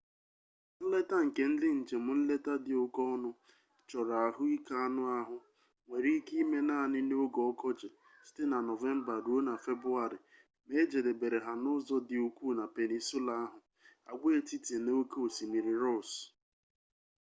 nleta nke ndị njem nleta dị oke ọnụ chọrọ ahụike anụ ahụ nwere ike ịme naanị n'oge ọkọchị nov-feb ma ejedebere ha n'ụzọ dị ukwuu na peninsula ahụ agwaetiti na oke osimiri ross